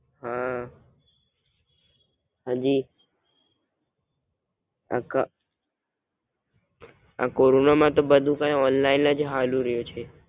હાં હાજી આ કોરોના મા તો બધુ ઓનલાઇન હાલી રહિયો છે.